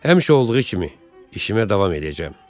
Həmişə olduğu kimi işimə davam eləyəcəm.